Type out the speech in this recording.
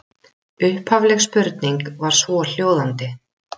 Upphafleg spurning var svohljóðandi: